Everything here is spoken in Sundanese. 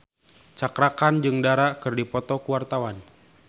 Cakra Khan jeung Dara keur dipoto ku wartawan